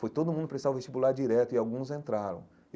Foi todo mundo prestar o vestibular direto e alguns entraram.